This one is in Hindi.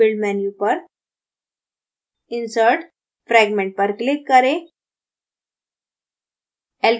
build menu पर फिर insert> fragment पर click करें